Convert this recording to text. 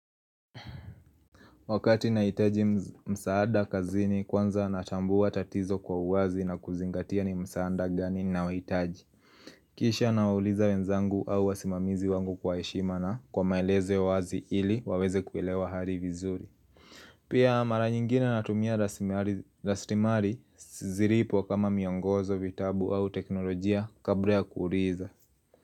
Wakati nahitaji msaada kazini kwanza natambua tatizo kwa uwazi na kuzingatia ni msaada gani ninaohitaji Kisha nawauliza wenzangu au wasimamizi wangu kwa heshima na kwa maelezo ya uwazi ili waweze kuelewa hali vizuri Pia mara nyingine natumia rasilimali zilipo kama miongozo, vitabu, au teknolojia kabla ya kuuliza.